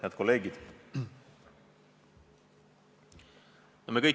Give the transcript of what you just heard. Head kolleegid!